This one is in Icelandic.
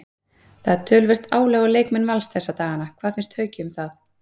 Það er töluvert álag á leikmenn Vals þessa dagana, hvað finnst Hauki um það?